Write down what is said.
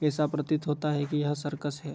ऐसा प्रतीत होता है की यह सर्कस है।